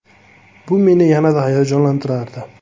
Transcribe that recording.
Bu meni yanada hayajonlantirardi.